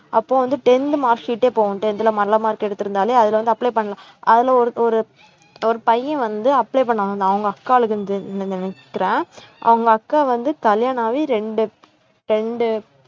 அப்போ வந்து tenth mark sheet ஏ போகும் tenth ல நல்ல mark எடுத்து இருந்தாலே அதுல வந்து apply பண்ணலாம் அதுல ஒரு ஒரு ஒரு பையன் வந்து apply பண்ண வந்தான் அவங்க அக்காளுக்கு து~ நின்~ நினைக்கறேன் அவங்க அக்கா வந்து கல்யாணமாகி ரெண்டு ரெண்டு